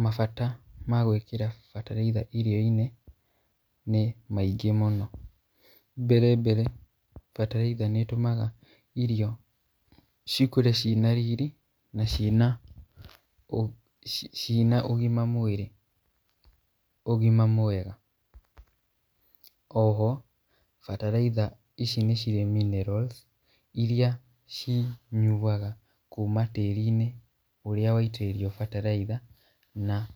Mabata ma gwĩkĩra bataraitha irio-inĩ ,nĩ maingĩ mũno, mbere mbere bataraitha nĩ ĩtũmaga irio cikũre cina riri na cina cina ũgima mwĩrĩ, ũgima mwega, oho bataraitha ici nĩ cirĩ minerals iria cinyuaga kuma tĩri-inĩ ũrĩa waitĩrĩrio bataraitha, na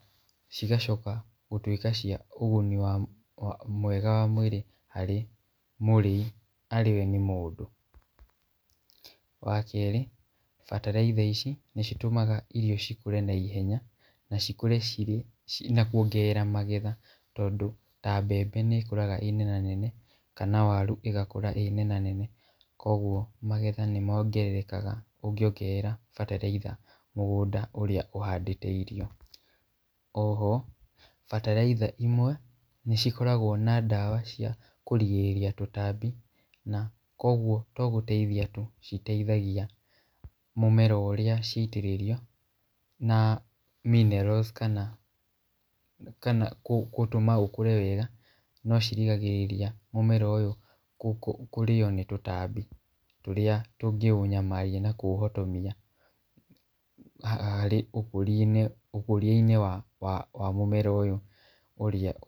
cigacoka gũtwĩka cia ũguni wa mwega wa mwĩrĩ harĩ mũrĩi arĩwe nĩ mũndũ, wa kerĩ bataraitha ici nĩ citũmaga irio cikũre na ihenya, na cikũre cirĩ na kwongerera magetha, tondũ ta mbembe nĩ ĩkũraga ĩrĩ nenanene, kana waru ĩgakũra ĩ nenanene, kũgwo magetha nĩ mongererekaga ũngĩongerera bataraitha mũgũnda ũrĩa ũhandĩte irio, oho bataraitha imwe nĩ cikoragwo na ndawa cia kũrigĩrĩria tũtambi na kogwo to gũteithia citeithagia tu, mũmera ũrĩa ciatĩrĩrio, na minerals kana gũtũma ũkũre wega , no cirigagĩrĩria mũmera ũyũ kũrĩo nĩ tũtambi, tũrĩa tũngĩ ũnyamaria na kũũhũtomia, harĩa ũkũria-inĩ ũkũria-inĩ wa wa mũmera ũyũ ũrĩa.